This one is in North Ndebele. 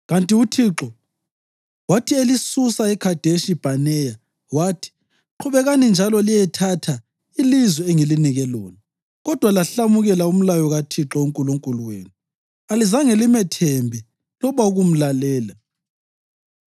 Kanti uThixo wathi elisusa eKhadeshi Bhaneya, wathi, ‘Qhubekani njalo liyethatha ilizwe engilinike lona.’ Kodwa lahlamukela umlayo kaThixo uNkulunkulu wenu. Alizange limethembe loba ukumlalela.